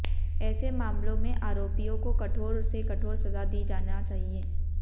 ऐसे मामले में आरोपियों को कठोर से कठोर सजा दी जाना चाहिए